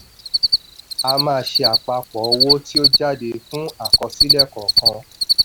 a máa ṣe àpapọ̀ owó tí ó jáde fún àkọsílẹ̀ kọọkan.